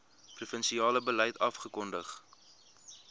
provinsiale beleid afgekondig